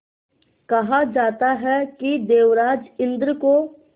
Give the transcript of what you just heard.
कहा जाता है कि देवराज इंद्र को